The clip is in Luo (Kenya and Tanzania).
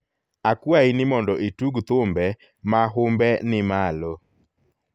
akwayi ni mondo itug thumbe ma humbeni malo